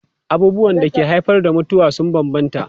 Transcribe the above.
Abubuwan da ke haifar da mutuwa sun bambanta.